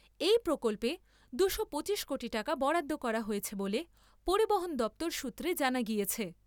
এই প্রকল্পে দুশো পচিশ কোটি টাকা বরাদ্দ করা হয়েছে বলে পরিবহন দপ্তর সূত্রে জানা গিয়েছে।